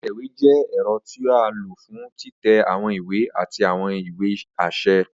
Atẹwe jẹ ẹrọ ti a lo fun titẹ awọn iwe ati awọn iwe aṣẹ.